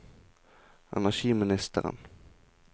energiministeren